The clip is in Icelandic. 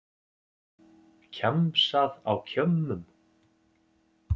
Kjamsað á kjömmum